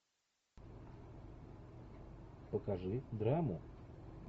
покажи драму